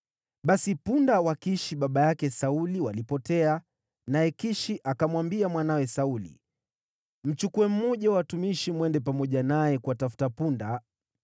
Basi punda wa Kishi baba yake Sauli walipotea, naye Kishi akamwambia mwanawe Sauli, “Mchukue mmoja wa watumishi mwende pamoja naye kuwatafuta punda.”